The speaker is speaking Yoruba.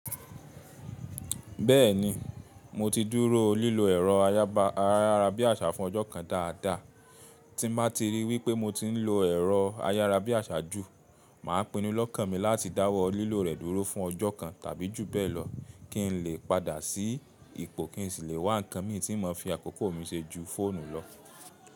Bẹ́ẹ̀ni, mo ti dúró lílo ẹ̀rọ ayárabíàṣá fún ọjọ́ kan dáadáa. Tí mo bá ti rí i wípé mo ti ń lo ẹ̀rọ ayárabíàṣá jù, mà á pinnu lọ́kàn mi láti dáwọ́ lílo rẹ̀ dúró fún ọjọ́ kan tàbí jù bẹ́ẹ̀ lọ kí n lè padà sí ipò kí n sì lè wá ǹkan mi tí in mo fi àkókò mi ṣe ju fóònù lọ.